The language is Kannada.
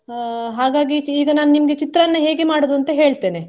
ಹಾ ಹಾಗಾಗಿ ಈಗ ನಾ ನಿಮ್ಗೆ ಚಿತ್ರಾನ್ನ ಹೇಗೆ ಮಾಡುದು ಅಂತ ಹೇಳ್ತೆನೆ.